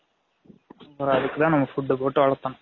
பிர அதுக்கு தான் நம்ம food போட்டு வலதனும்